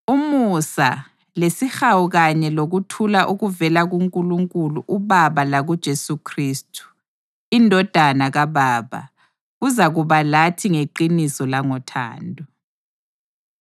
Umusa, lesihawu kanye lokuthula okuvela kuNkulunkulu uBaba lakuJesu Khristu, iNdodana kaBaba, kuzakuba lathi ngeqiniso langothando.